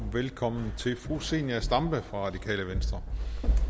velkommen til fru zenia stampe radikale venstre